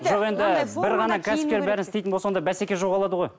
жоқ енді бір ғана кәсіпкер бәрін істейтін болса онда бәсеке жоғалады ғой